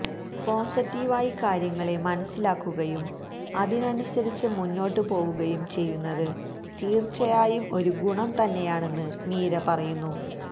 പോസിറ്റീവായി കാര്യങ്ങളെ മനസിലാക്കുകയും അതിനനുസരിച്ച് മുന്നോട്ട് പോവുകയും ചെയ്യുകയെന്നത് തീര്ച്ചയായും ഒരു ഗുണം തന്നെയാണെന്ന് മീര പറയുന്നു